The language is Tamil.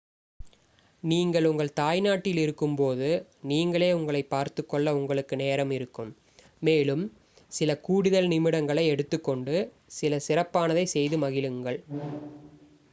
நீங்கள் உங்கள் தாய்நாட்டில் இருக்கும்போது நீங்களே உங்களைப் பார்த்துக்கொள்ள உங்களுக்கு நேரம் இருக்கும் மேலும் சில கூடுதல் நிமிடங்களை எடுத்துக் கொண்டு சில சிறப்பானதை செய்து மகிழுங்கள்